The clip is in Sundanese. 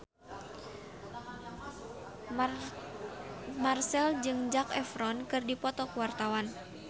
Marchell jeung Zac Efron keur dipoto ku wartawan